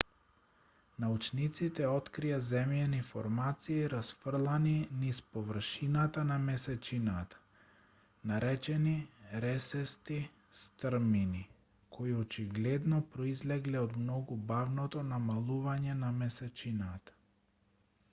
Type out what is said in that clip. научниците открија земјени формации расфрлани низ површината на месечината наречени ресести стрмини кои очигледно произлегле од многу бавното намалување на месечината